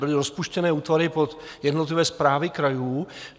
Byly rozpuštěny útvary pod jednotlivé správy krajů.